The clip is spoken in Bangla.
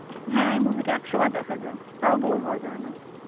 হ্যাঁ এই movie টা একশ বার দেখা যায় তাও bore হওয়া যায় না.